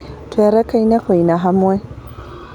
Tũrakenire kũina hamwe.